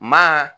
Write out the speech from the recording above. Maa